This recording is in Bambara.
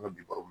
An ka bi